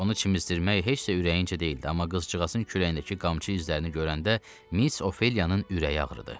Onu çimdirmək heç də ürəyincə deyildi, amma qızcığazın kürəyindəki qamçı izlərini görəndə Miss Ofeliyanın ürəyi ağrıdı.